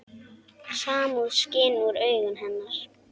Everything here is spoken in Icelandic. Samúð skín úr augum hennar.